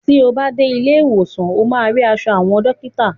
Ti o bá dé ilé ìwòsàn ó máa rí aṣọ àwọn dọ́kítà.